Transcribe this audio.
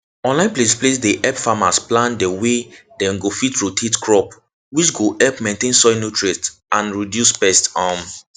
online place place dey help farmers plan dey way dem go fit rotate crop which go help maintain soil nutrients and reduce pest um